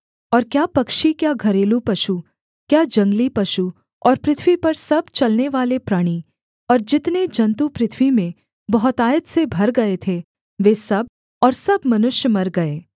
और क्या पक्षी क्या घरेलू पशु क्या जंगली पशु और पृथ्वी पर सब चलनेवाले प्राणी और जितने जन्तु पृथ्वी में बहुतायत से भर गए थे वे सब और सब मनुष्य मर गए